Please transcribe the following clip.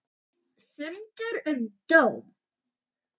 Fundur um dóm